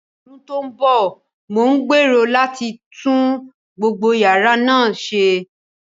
Ní ọdún tó ń bọ̀, mo gbèrò láti tún gbogbo yàrá náà ṣe.